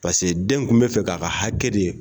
den tun bɛ fɛ k'a ka hakɛ de